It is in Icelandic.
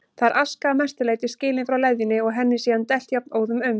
Þar er aska að mestu leyti skilin frá leðjunni og henni síðan dælt jafnóðum um